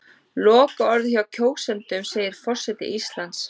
Lokaorðið hjá kjósendum segir forseti Íslands